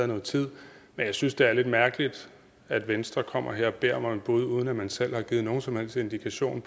noget tid men jeg synes det er lidt mærkeligt at venstre kommer her og beder mig om et bud uden at man selv har givet nogen som helst indikation